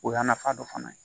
O y'a nafa dɔ fana ye